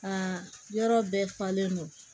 Aa yɔrɔ bɛɛ falen don